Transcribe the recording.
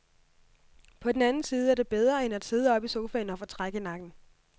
På den anden side er det bedre end at sidde oppe i sofaen og få træk i nakken.